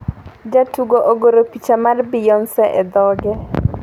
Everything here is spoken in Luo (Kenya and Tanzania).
Jatugo ogoro picha mar Beyonce e dhoge